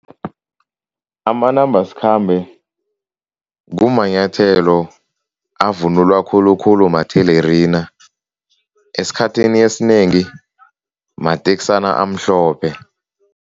Amanambasikhambe kumanyathelo avunulwa khulukhulu mathelerina, esikhathini esinengi mateksana amhlophe.